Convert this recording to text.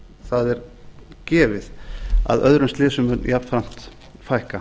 það er gefið að öðrum slysum mun jafnframt fækka